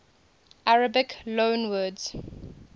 arabic loanwords